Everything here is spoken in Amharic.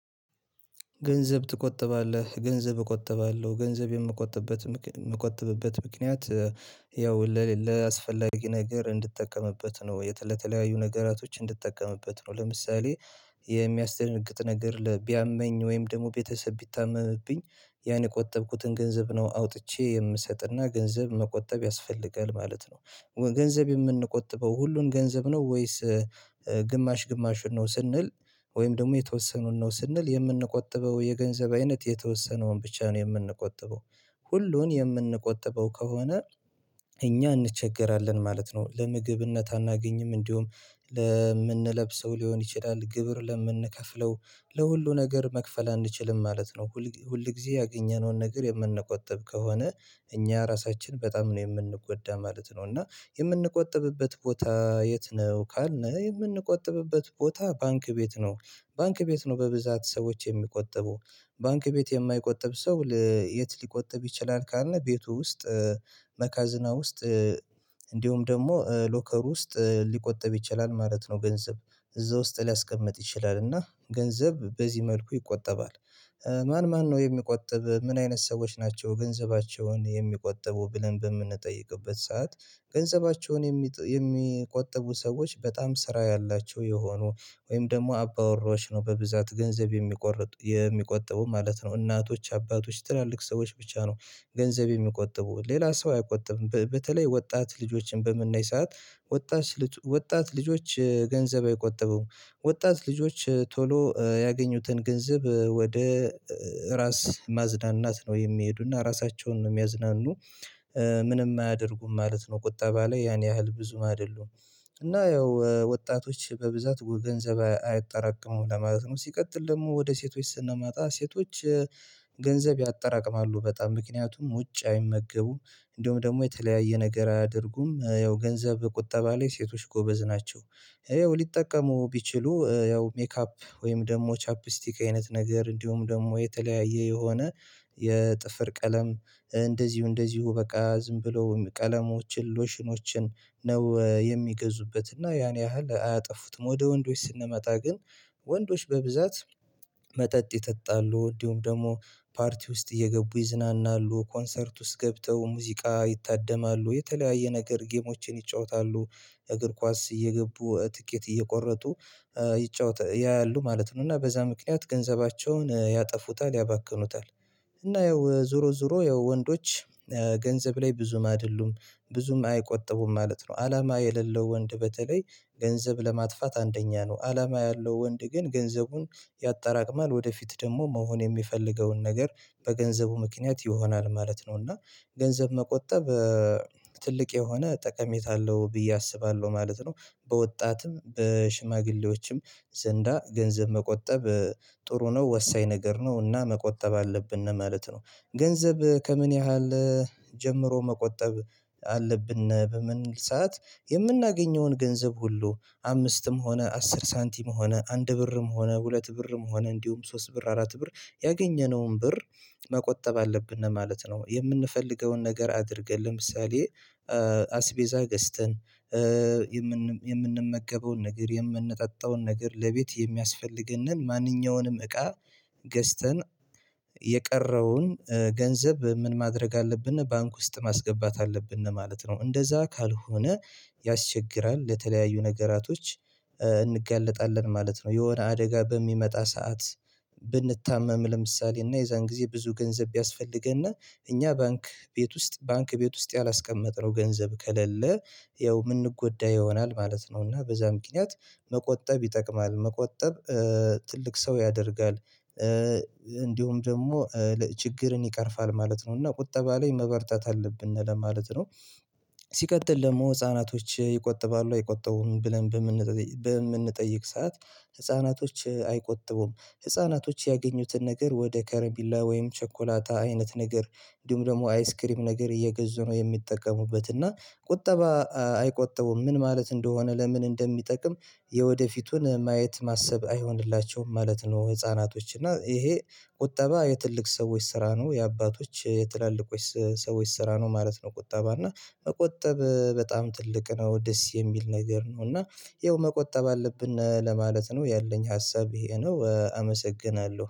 ገንዘብ ትቆጥባለህ ገንዘብ እቆጥባለሁ ገንዘብ የምቆጥብበት የምቆጥብበት ምክንያት ያው ለሌ ለአስፈላጊ ነገር እንድትጠቀምበት ነው የተለተለያዩ ነገራቶች እንድትጠቀምበት ነው ለምሳሌ የሚያስደነግጥ ነገር ቢያመኝ ወይም ደግሞ ቤተሰብ ቢታመምብኝ ያን የቆጠብኩትን ገንዘብ ነው አውጥቼ የምሰጥና ገንዘብ መቆጠብ ያስፈልጋል ማለት ነው። ገንዘብ የምንቆጥበው ሁሉን ገንዘብ ነው ወይስ? ግማሽ ግማሹን ነው ስንል ወይም ደግሞ የተወሰነውን ነው ስንል የምንቆጥበው የገንዘብ አይነት የተወሰነውን ብቻ ነው የምንቆጥበው። ሁሉን የምንቆጥበው ከሆነ እኛ እንቸገራለን ማለት ነው። ለምግብነት አናገኝም እንዲሁም ለምንለብሰው ሊሆን ይችላል ግብር ለምንከፍለው ለሁሉ ነገር መክፈል አንችልም ማለት ነው። ሁል ሁልጊዜ ያገኘነውን ነገር የምንቆጥብ ከሆነ እኛ ራሳችን በጣም ነው የምንጎዳ ማለት ነው። እና የምንቆጥብበት ቦታ የት ነው ካልን የምንቆጥብበት ቦታ ባንክ ቤት ነው። ባንክ ቤት ነው በብዛት ሰዎች የሚቆጥቡ። ባንክ ቤት የማይቆጥብ ሰው የት ሊቆጥብ ይችላል? ካልን ቤቱ ውስጥ በካዝና ውስጥ እንዲሁም ደግሞ ሎከር ውስጥ ሊቆጠብ ይችላል ማለት ነው። ገንዘብ እዛ ውስጥ ሊያስቀምጥ ይችላል እና ገንዘብ በዚህ መልኩ ይቆጠባል። ማን ማን ነው የሚቆጥብ ምን አይነት ሰዎች ናቸው ገንዘባቸውን የሚቆጠቡ ብለን በምንጠይቅበት ሰዓት? ገንዘባቸውን የሚቆጥቡ ሰዎች በጣም ስራ ያላቸው የሆኑ ወይም ደግሞ አባውራዎች ነው በብዛት ገንዘብ የሚቆረቡ የሚቆጥቡ ማለት ነው። እናቶች አባቶች ትላልቅ ሰዎች ብቻ ነው። ገንዘብ የሚቆጥቡ ሌላ ሰው አይቆጥብም። በተለይ ወጣት ልጆችን በምናይ ሰዓት ወጣት ልጆች ገንዘብ አይቆጥቡም። ወጣት ልጆች ቶሎ ያገኙትን ገንዘብ ወደ ራስ ማዝናናት ነው የሚሄዱና ራሳቸውን ነው የሚያዝናኑ ምንም አያደርጉም ማለት ነው። ቁጠባ ላይ ያን ያህል ብዙ አደሉም። እና ያው ወጣቶች በብዛት ገንዘብ አያጠራቅሙም ለማለት ነው። ሲቀጥል ደግሞ ወደ ሴቶች ስንመጣ ሴቶች ገንዘብ ያጠራቅማሉ በጣም ምክንያቱም ውጭ አይመገቡም እንደውም ደግሞ የተለያየ ነገር አያደርጉም ያው ገንዘብ ቁጠባ ላይ ሴቶች ጎበዝ ናቸው። ይኸው ሊጠቀሙ ቢችሉ ያው ሜካፕ ወይም ደግሞ ቻፕስቲክ አይነት ነገር እንዲሁም ደግሞ የተለያየ የሆነ የጥፍር ቀለም እንደዚሁ እንደዚሁ በቃ ዝም ብሎ ቀለሞችን ሎሽኖችን ነው የሚገዙበት እና ያን ያህል አያጠፉትም። ወደ ወንዶች ስንመጣ ግን ወንዶች በብዛት መጠጥ ይጠጣሉ እንዲሁም ደግሞ ፓርቲ ውስጥ እየገቡ ይዝናናሉ ኮንሰርት ውስጥ ገብተው ሙዚቃ ይታደማሉ የተለያየ ነገር ጌሞቼን ይጫወታሉ። የእግር ኳስ እየገቡ ትኬት እየቆረጡ ይጫወታሉ ያያሉ ማለት ነው። እና በዛ ምክንያት ገንዘባቸውን ያጠፉታል ያባክኑታል። እና ይኸው ዞሮ ዞሮ ይኸው የወንዶች ገንዘብ ላይ ብዙም አይደሉም ብዙም አይቆጥቡም ማለት ነው። አላማ የሌለው ወንድ በተለይ ገንዘብ ለማጥፋት አንደኛ ነው። አላማ ያለው ወንድ ግን ገንዘቡን ያጠራቅማል ወደፊት ደግሞ መሆን የሚፈልገውን ነገር በገንዘቡ ምክንያት ይሆናል ማለት ነው። እና ገንዘብ መቆጠብ ትልቅ የሆነ ጠቀሜታ አለው ብዬ አስባለሁ ማለት ነው። በወጣትም በሽማግሌዎችም ዘንዳ ገንዘብ መቆጠብ ጥሩ ነው ወሳኝ ነገር ነው እና መቆጠብ አለብን ለማለት ነው። ገንዘብ ከምን ያህል ጀምሮ መቆጠብ አለብን? በምን ሰዓት የምናገኘውን ገንዘብ ሁሉ አምስትም ሆነ አስር ሳንቲም ሆነ አንድ ብርም ሆነ ሁለት ብርም ሆነ እንዲሁም ሶስት ብር አራት ብር ያገኘነውን ብር መቆጠብ አለብን ለማለት ነው። የምንፈልገውን ነገር አድርገን ለምሳሌ አስቤዛ ገዝተን የምንመገበውን ነገር የምንጠጣውን ነገር ለቤት የሚያስፈልገንን ማንኛውንም እቃ ገዝተን የቀረውን ገንዘብ ምን ማድረግ አለብን ባንክ ውስጥ ማስገባት አለብን ለማለት ነው። እንደዛ ካልሆነ ያስቸግራል ለተለያዩ ነገራቶች እንጋለጣለን ማለት ነው። የሆነ አደጋ በሚመጣ ሰዓት ብንታመም ለምሳሌ እና የዛን ጊዜ ብዙ ገንዘብ ቢያስፈልገን እኛ ባንክ ቤት ውስጥ ባንክ ቤት ውስጥ ያላስቀመጥነው ገንዘብ ከሌለ ያው የምንጎዳ ይሆናል ማለት ነው። እና በዛ ምክንያት መቆጠብ ይጠቅማል መቆጠብ ትልቅ ሰው ያደርጋል። እንዲሁም ደግሞ ችግርን ይቀርፋል ማለት ነው። እና ቁጠባ ላይ መበርታት አለብን ለማለት ነው። ሲቀጥል ደግሞ ህፃናቶች ይቆጥባሉ አይቆጥቡም? ብለን በምንጠይቅ ሰዓት ህፃናቶች አይቆጥቡም ህፃናቶች ያገኙትን ነገር ወደ ከረሜላ ወይም ቸኮላታ አይነት ነገር እንዲሁም አይስክሪም ነገር እየገዙ ነው የሚጠቀሙበት። እና ቁጠባ አይቆጠቡም ምን ማለት እንደሆነ ለምን እንደሚጠቅም የወደፊቱን ማየት ማሰብ አይሆንላቸውም ማለት ነው። ህፃናቶች እና ይሄ ቁጠባ የትልቅ ሰዎች ስራ ነው የአባቶች ትላልቆች ሰዎች ስራ ነው ማለት ነው። ቁጠባ እና መቆጠብ በጣም ትልቅ ነው ደስ የሚል ነገር ነው። እና ይኸው መቆጠብ አለብን ለማለት ነው ያለኝ ሀሳብ ይሄ ነው አመሰግናለሁ